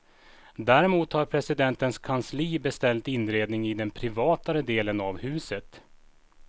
Däremot har presidentens kansli beställt inredningen i den privatare delen av huset.